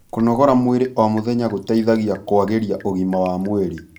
kũnogora mwĩrĩ o mũthenya gũteithagia kũagĩria ũgima wa mwĩrĩ